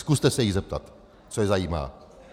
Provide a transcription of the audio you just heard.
Zkuste se jich zeptat, co je zajímá.